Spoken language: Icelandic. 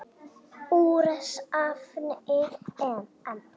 Úr safni EM.